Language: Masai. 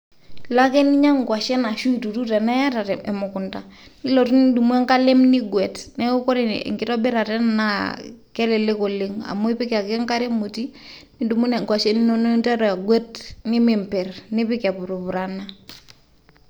Ilo ake ninyang'u ng'washen ashu ituru teniata te mukunda nilotu nidumu enkalem nigwet. Neeku kore enkitobirata ena naa kelelek oleng' amu ipik ake enkare emoti nidumu ng'washen inonok ninteru agwet nemimper nipik epurupurana.